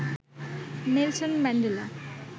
Nelson Mandela